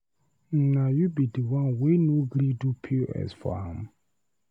Na you be the one wey no gree do POS for am?